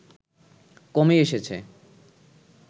কমই এসেছে